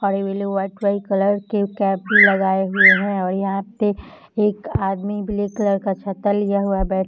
और ये लोग व्हाइट - व्हाइट कलर की कैप भी लगाए हुए हैं और यहाँ पे एक आदमी ब्लैक कलर का छाता लिए हुआ --